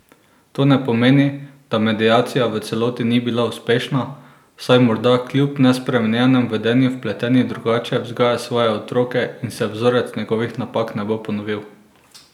To ne pomeni, da mediacija v celoti ni bila uspešna, saj morda kljub nespremenjenemu vedenju vpleteni drugače vzgaja svoje otroke in se vzorec njegovih napak ne bo ponovil.